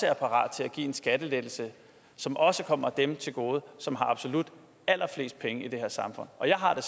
er parat til give en skattelettelse som også kommer dem til gode som har absolut allerflest penge i det her samfund jeg har det